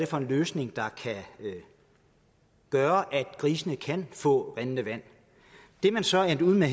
for en løsning der kan gøre at grisene kan få rindende vand det man så er endt ud med